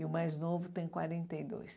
E o mais novo tem quarenta e dois.